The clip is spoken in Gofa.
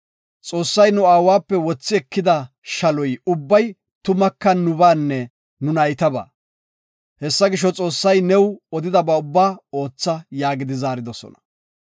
Xoossay nu aawape wothi ekida shalo ubbay tumaka nubaanne nu naytabaa. Hessa gisho, Xoossay new odidaba ubba ootha” yaagi zaaridosona.